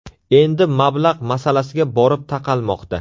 Endi mablag‘ masalasiga borib taqalmoqda.